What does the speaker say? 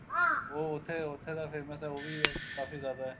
ਉਹ ਉੱਥੇ ਉੱਥੇ ਦਾ famous ਏ ਉਹ ਵੀ ਕਾਫੀ ਜਿਆਦਾ